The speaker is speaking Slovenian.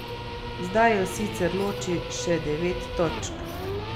Zdaj ju sicer loči še devet točk.